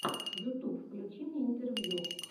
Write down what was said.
ютуб включи мне интервью